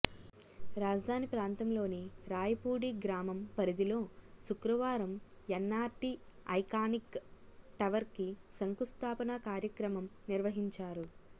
రాజధాని ప్రాంతంలోని రాయపూడి గ్రామం పరిధిలో శుక్రవారం ఎన్నార్టీ ఐకానిక్ టవర్కి శంకుస్థాపన కార్యక్రమం నిర్వహిం చారు